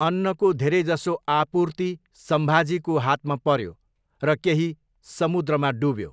अन्नको धेरैजसो आपूर्ति सम्भाजीको हातमा पऱ्यो र केही समुद्रमा डुब्यो।